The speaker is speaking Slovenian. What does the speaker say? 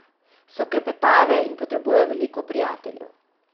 So klepetave in potrebujejo veliko prijateljev.